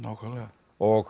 og